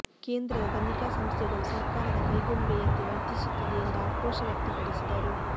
ಕೇಂದ್ರದ ತನಿಖಾ ಸಂಸ್ಥೆಗಳು ಸರ್ಕಾರದ ಕೈಗೊಂಬೆಯಂತೆ ವರ್ತಿಸುತ್ತಿದೆ ಎಂದು ಆಕ್ರೋಶ ವ್ಯಕ್ತಪಡಿಸಿದರು